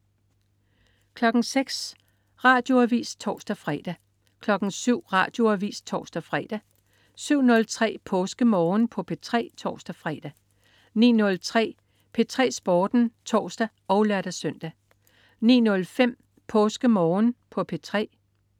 06.00 Radioavis (tors-fre) 07.00 Radioavis (tors-fre) 07.03 PåskeMorgen på P3 (tors-fre) 09.03 P3 Sporten (tors og lør-søn) 09.05 PåskeMorgen på P3